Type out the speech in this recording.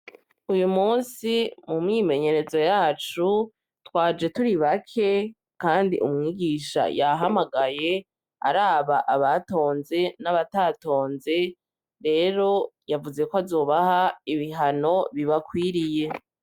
Iyu munsi mu mwimenyerezo yacu twaje turi bake kandi umwigisha yahamagaye araba abatonze n'abatatonze rero yavuze ko azubaha ibihano bibakwiriye.